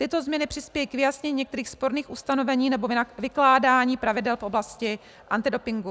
Tyto změny přispějí k vyjasnění některých sporných ustanovení nebo vykládání pravidel v oblasti antidopingu.